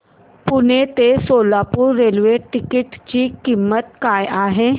पुणे ते Solapur railway ticket ची किंमत काय आहे